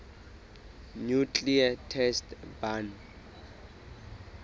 nuclear test ban